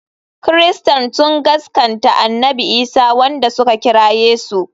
Christains sun gaskanta annabi Isa wanda suka kira Yesu.